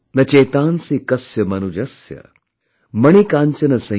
न चेतांसि कस्य मनुजस्य